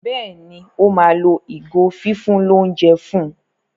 Béèni o ma ló ìgò fífún l'ounjẹ fún.